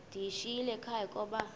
ndiyishiyile ekhaya koba